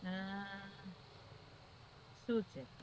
હા શૂ છે?